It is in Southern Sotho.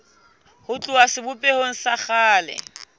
ho tloha sebopehong sa kgale